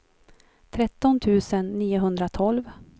tretton tusen niohundratolv